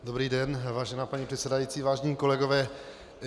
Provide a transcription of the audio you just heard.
Dobrý den, vážená paní předsedající, vážení kolegové.